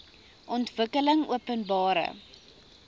ontwikkelingopenbare